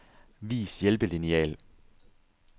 Vis hjælpelineal.